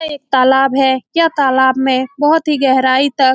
यह एक तालाब है यह तालाब में बहुत ही गहराई तक --